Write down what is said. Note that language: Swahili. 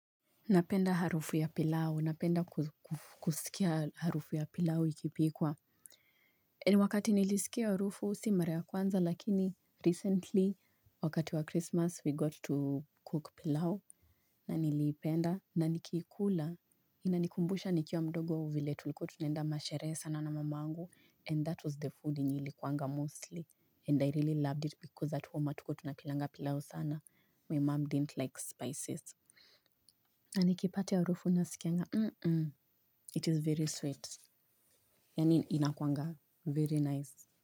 Napenda harufu ya pilau. Napenda kusikia harufu ya pilau ikipikwa. Eni wakati nilisikia harufu, si mara ya kwanza lakini, recently wakati wa Christmas we got to cook pilau. Na nilipenda, na nikikula, inanikumbusha nikiwa mdogo vile tulikua tunenda masherehe sana na mamangu and that was the food yenye ilikuanga mostly and I really loved it because at home atukua tunapilanga pilau sana. My mom didn't like spices. Na nikipata hiyo harufu na skianga mhm it is very sweet. Yaani inakuanga very nice.